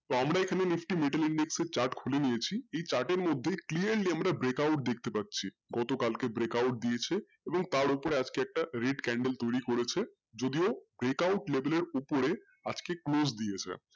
তো আমরা এখানে chart খুলে নিয়েছি এই chart এর মধ্যে clearly আমরা break out দেখতে পাচ্ছি গত কালকে break out দিয়েছে এবং তার ওপরে আজকে একটা read candle তৈরি করেছে যদিও break out label এর ওপরে আজকে